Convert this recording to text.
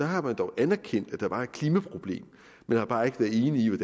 har man dog anerkendt at der var et klimaproblem men har bare ikke været enige i